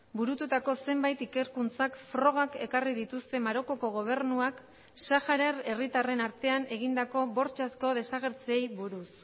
burututako zenbait ikerkuntzak frogak ekarri dituzte marokoko gobernuak saharar herritarren artean egindako bortxazko desagertzeei buruz